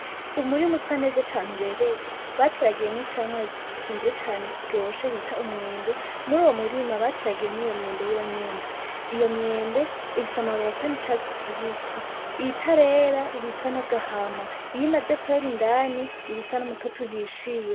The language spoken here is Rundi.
Umurima usa neza cane ubereye bateragiyemwo icamwa gikunzwe cane kiryoshe bita umwembe muruyo murima hateyemwo iyo myembe nyene, iyo myembe ifise amababi asa nicatsi kibisi itarera iba isa nagahama iyo imaze kwera iba isa numutoto uhishiye.